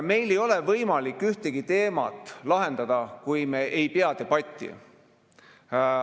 Meil ei ole võimalik ühtegi teemat lahendada, kui me ei pea debatti.